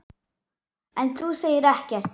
En þú segir ekkert.